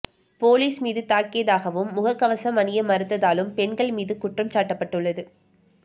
police மீது தாக்கியதாகவும் முகக்கவசம் அணிய மறுத்ததாலும் பெண் மீது குற்றம் சாட்டப்பட்டுள்ளது